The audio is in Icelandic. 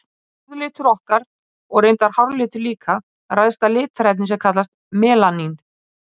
Húðlitur okkar, og reyndar háralitur líka, ræðst af litarefni sem kallast melanín.